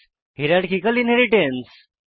hierarchical inheritance